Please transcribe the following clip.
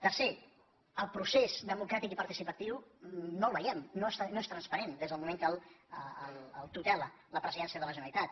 tercer el procés democràtic i participatiu no el veiem no és transparent des del mo ment que el tutela la presidència de la generalitat